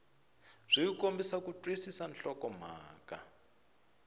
byi kombisa ku twisisa nhlokomhaka